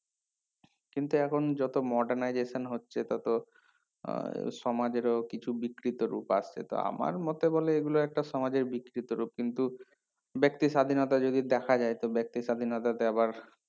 কিন্তু এখন যত modernization হচ্ছে ততো উম সমাজের ও কিছু বিকৃত রূপ আসছে তা আমার মতে বলে এগুলো একটা সমাজের বিকৃত রূপ কিন্তু ব্যাক্তি স্বাধীনতা যদি দেখা যায় তো ব্যাক্তি স্বাধীনতা তে আবার